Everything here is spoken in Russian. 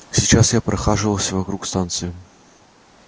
сейчас я прохаживался вокруг станции